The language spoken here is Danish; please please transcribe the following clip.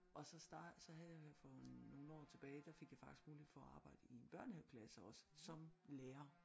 Og så startede så havde jeg jo her for nogle år tilbage der fik jeg faktisk mulighed for at arbejde i en børnehaveklasse også som lærer